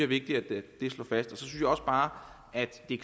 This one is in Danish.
vigtigt at slå fast også bare at det